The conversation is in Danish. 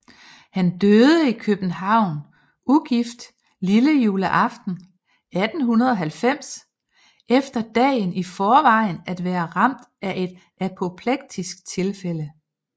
Han døde i København ugift lillejuleaften 1890 efter dagen i forvejen at være ramt af et apoplektisk tilfælde